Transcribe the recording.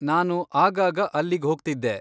ನಾನು ಆಗಾಗ ಅಲ್ಲಿಗ್ಹೋಗ್ತಿದ್ದೆ.